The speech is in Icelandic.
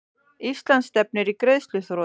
Ísland stefnir í greiðsluþrot